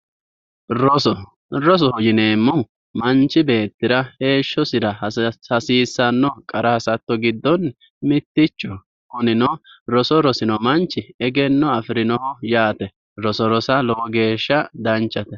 roso rosoho yineemmohu manchi beettira hasiissanno qara hasatto giddoonni mittichoho kunino roso rosino manchi egenno afirinoho yaate roso rosa lowo geeshsha danchate.